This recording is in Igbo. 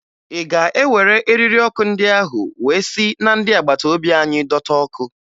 Ị ga-ewere eriri ọkụ ndị ahụ wee si na ndị agbata obi anyị dọta ọkụ?